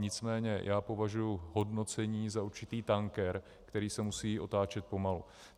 Nicméně já považuji hodnocení za určitý tanker, který se musí otáčet pomalu.